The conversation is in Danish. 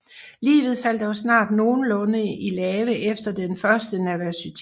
Livet faldt dog snart nogenlunde i lave efter den første nervøsitet